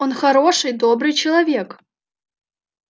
он хороший добрый человек